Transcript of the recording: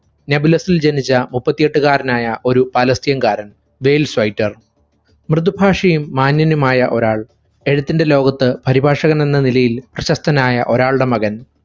നെബുലസിൽ ജനിച്ച മുപ്പത്തിയെട്ടുകാരനായ ഒരു പലസ്തീൻകാരൻ, ബേൽഷ് സ്വൈറ്റർ മൃദുഭാഷ്യനും മാന്യനുമായ ഒരാൾ. എഴുത്തിന്റെ ലോകത്ത്‌ പരിഭാഷകനെന്ന നിലയിൽ പ്രശസ്തനായ ഒരാളുടെ മകൻ.